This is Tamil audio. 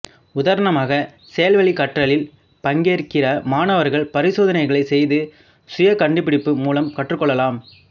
உதாரணமாக செயல் வழி கற்றலில் பங்கேற்கிற மாணவர்கள் பரிசோதனைகளை செய்து சுயகண்டுபிடிப்பு மூலம் கற்றுக் கொள்ளலாம்